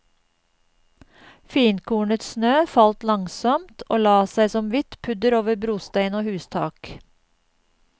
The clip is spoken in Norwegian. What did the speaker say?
Finkornet snø falt langsomt, og la seg som hvitt pudder over brostein og hustak.